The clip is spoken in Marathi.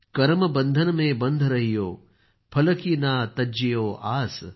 करम बंधन में बन्ध रहियो फल की ना तज्जियो आस